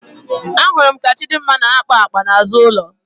Ahụrụ m ka Chịdịmma na-akpa akpa n'azụ ụlọ.